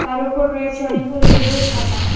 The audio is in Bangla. তার ওপর রয়েছে অনেকগুলো বই খাতা।